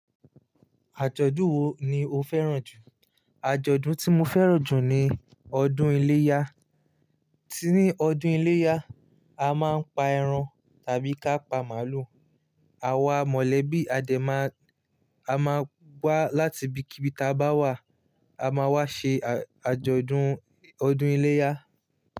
Àjọ̀dún wo ni o fẹ́ràn jù? Àjọ̀dún tí mo fẹ́ràn jù ni ọdún iléyá. Tí ní ọdún iléyá, a máa ń pa ẹran tàbí kápa màlúù. Àwa mọ̀lẹ́bí adẹ́ ma, a máa wá láti ibikíbi ta bá wà, a máa wá ṣe àjọ̀dún ọdún iléyá.